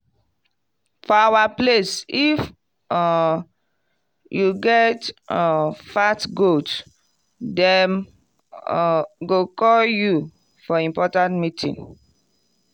for our place if um you get um fat goat dem um go call you for important meeting.